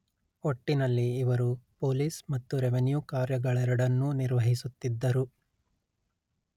ಒಟ್ಟಿನಲ್ಲಿ ಇವರು ಪೊಲೀಸ್ ಮತ್ತು ರೆವಿನ್ಯೂ ಕಾರ್ಯಗಳೆರಡನ್ನೂ ನಿರ್ವಹಿಸುತ್ತಿದ್ದರು